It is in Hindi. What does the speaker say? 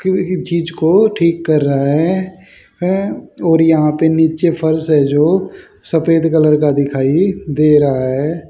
किवी भी चीज को ठीक कर रहा है और यहां पे नीचे फर्श है जो सफेद कलर का दिखाई दे रहा है।